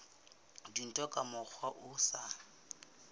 dintho ka mokgwa o sa